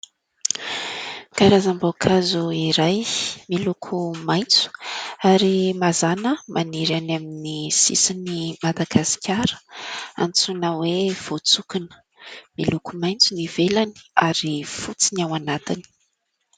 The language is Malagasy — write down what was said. Karazam-boankazo iray miloko maitso ary mazàna maniry any amin'ny sisin'i Madagasikara, antsoina hoe : voantsokona. Miloko maitso ny ivelany ary fotsy no ao anatiny.